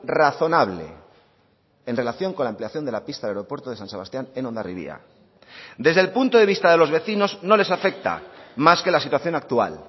razonable en relación con la ampliación de la pista del aeropuerto de san sebastián en hondarribia desde el punto de vista de los vecinos no les afecta más que la situación actual